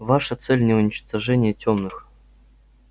ваша цель не уничтожение тёмных